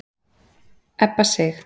Ebba Sig